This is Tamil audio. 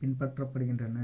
பின்பற்றப்படுகின்றன